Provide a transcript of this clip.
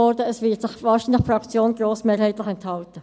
Wahrscheinlich wird sich die Fraktion grossmehrheitlich enthalten.